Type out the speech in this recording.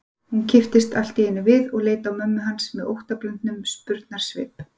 Hún kipptist allt í einu við og leit á mömmu hans með óttablöndnum spurnarsvip.